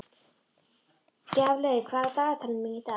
Gjaflaug, hvað er á dagatalinu mínu í dag?